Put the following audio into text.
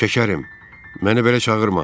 Şəkərim, məni belə çağırma.